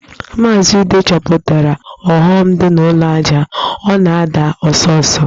Maazị Ude chọpụtara ọghọm dị na ụlọ ajá, ọ na-ada ọsọ ọsọ